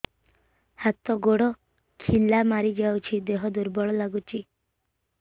ହାତ ଗୋଡ ଖିଲା ମାରିଯାଉଛି ଦେହ ଦୁର୍ବଳ ଲାଗୁଚି